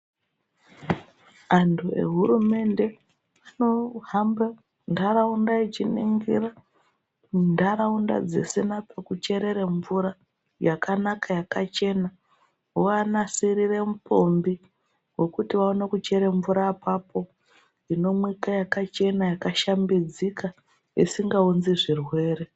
Antu ehurumende anohambe ntaraunda achiningira ntaraunda dzisina pekucherere mvura yakanaka yakachena . Voaanasirire mupombi wekuti vaone kuchere mvura apapo inomwika yakachena yakashambidzika isingaunzi zvirwere .